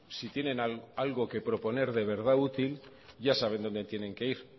si tienen algo que proponer de verdad útil ya saben dónde tienen que ir